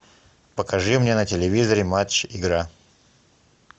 покажи мне на телевизоре матч игра